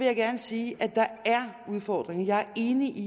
jeg gerne sige at der er udfordringer jeg er enig i